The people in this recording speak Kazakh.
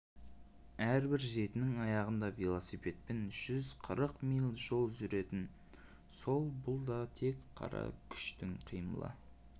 әрбір жетінің аяғында велосипедпен жүз қырық миль жол жүргізетін сол бұл да тек қара күштің қимылы